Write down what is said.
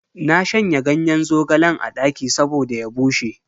Na shanya ganyen zogalen a daki saboda ya bushe.